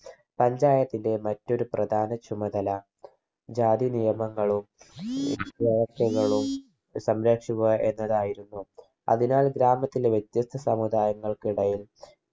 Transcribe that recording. panchayat ന്റെ മറ്റൊരു പ്രധാന ചുമതല ജാതി നിയമങ്ങളും സംരക്ഷിക്കുക എന്നതായിരുന്നു അതിനാൽ ഗ്രാമത്തിലെ വ്യത്യസ്ത സമുദായങ്ങൾക്കിടയിൽ